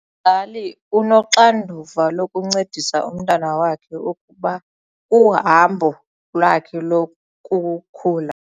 Umzali unoxanduva lokuncedisa umntwana wakhe ukuba uhambo lwakhe lokukhula.